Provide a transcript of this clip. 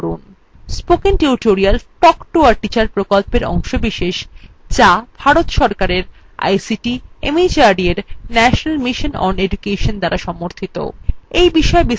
spoken tutorial talk to a teacher প্রকল্পের অংশবিশেষ যা ভারত সরকারের ict mhrd এর national mission on education দ্বারা সমর্থিত